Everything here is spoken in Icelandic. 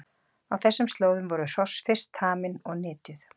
Á þessum slóðum voru hross fyrst tamin og nytjuð.